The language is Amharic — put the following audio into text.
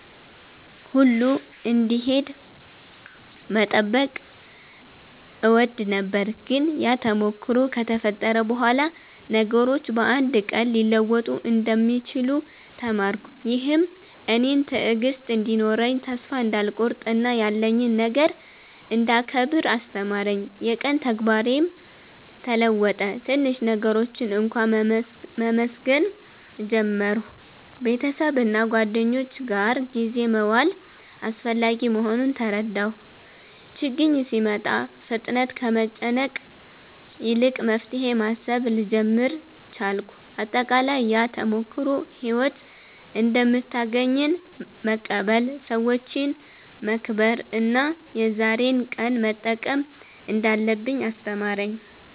ሁሉ እንዲሄድ መጠበቅ እወድ ነበር፤ ግን ያ ተሞክሮ ከተፈጠረ በኋላ ነገሮች በአንድ ቀን ሊለወጡ እንደሚችሉ ተማርኩ። ይህም እኔን ትዕግሥት እንዲኖረኝ፣ ተስፋ እንዳልቆርጥ እና ያለኝን ነገር እንዳስከብር አስተማረኝ። የቀን ተግባሬም ተለወጠ፤ ትንሽ ነገሮችን እንኳ መመስገን ጀመርሁ። ቤተሰብና ጓደኞች ጋር ጊዜ መዋል አስፈላጊ መሆኑን ተረዳሁ። ችግኝ ሲመጣ ፍጥነት ከመጨነቅ ይልቅ መፍትሄ ማሰብ ልጀምር ቻልኩ። አጠቃላይ፣ ያ ተሞክሮ ሕይወት እንደምታገኘን መቀበል፣ ሰዎችን መከብር እና የዛሬን ቀን መጠቀም እንዳለብኝ አስተማረኝ።